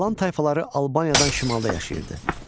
Alan tayfaları Albaniyadan şimalda yaşayırdı.